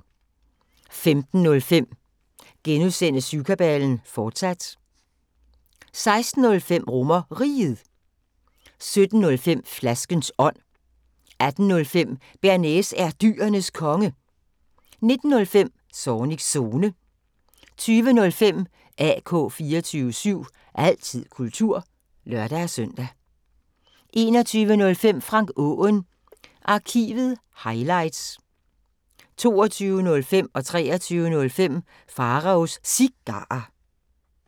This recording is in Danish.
15:05: Syvkabalen, fortsat * 16:05: RomerRiget 17:05: Flaskens ånd 18:05: Bearnaise er Dyrenes Konge 19:05: Zornigs Zone 20:05: AK 24syv – altid kultur (lør-søn) 21:05: Frank Aaen Arkivet – highlights 22:05: Pharaos Cigarer 23:05: Pharaos Cigarer